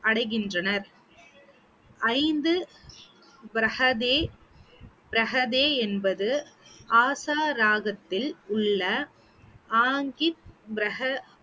அடைகின்றனர் ஐந்து என்பது ஆசா ராகத்தில் உள்ள அடைகின்றனர்